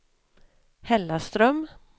Hällaström